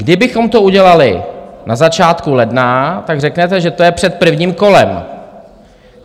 Kdybychom to udělali na začátku ledna, tak řeknete, že to je před prvním kolem.